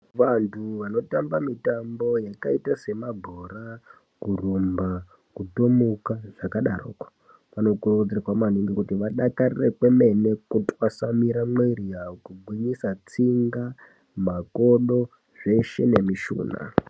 Vantu vanotambe mitambo yakaita semabhora kurumba kutomuka zvakadarokwo vanokurudzirwa maningi kuti vadakarire kwemene kutwasanure muiri yavo kugwinyisa tsinga makodo zveshe nemushuna.